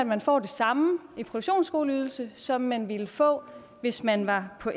man får det samme i produktionsskoleydelse som man ville få hvis man var på